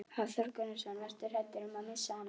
Hafþór Gunnarsson: Varstu hræddur um að missa hana?